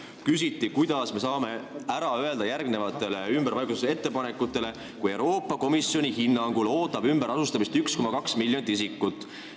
Küsiti, kuidas me saame ära öelda järgmistele ümberpaigutusettepanekutele, kui Euroopa Komisjoni hinnangul ootab ümberasustamist 1,2 miljonit isikut.